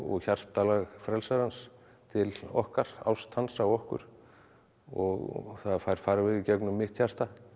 hjartalag frelsarans til okkar ást hans á okkur og það fær farveg í gegnum mitt hjarta